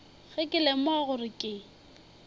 ge ke lemoga gore ke